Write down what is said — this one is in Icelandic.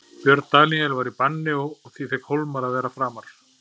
Björn Daníel var í banni og því fékk Hólmar að vera framar.